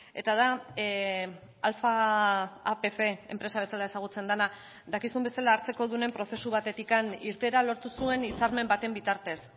eta da alfa apc enpresa bezala ezagutzen dena dakizun bezala hartzekodunen prozesu batetik irteera lortu zuen hitzarmen baten bitartez